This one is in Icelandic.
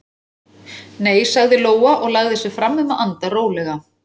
Nei, sagði Lóa og lagði sig fram um að anda rólega.